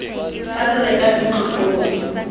fa re reka ntlo koo